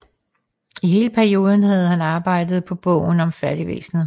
I hele perioden havde han arbejdet på bogen om fattigvæsenet